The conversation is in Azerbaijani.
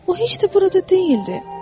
O heç də burada deyildi.